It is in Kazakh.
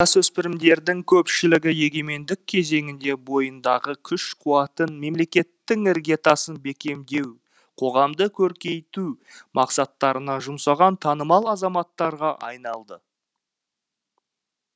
жасөспірімдердің көпшілігі егемендік кезеңінде бойындағы күш қуатын мемлекеттің іргетасын бекемдеу қоғамды көркейту мақсаттарына жұмсаған танымал азаматтарға айналды